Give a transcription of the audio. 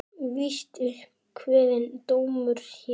Víst upp kveðinn dómur hér.